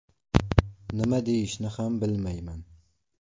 Nima deyishni ham bilmayman.